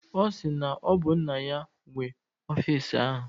Ọ sị na ọ bụ nna ya nwe ọfisi ahụ